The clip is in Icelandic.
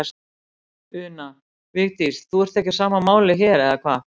Una: Vigdís, þú ert ekki á sama máli hér, eða hvað?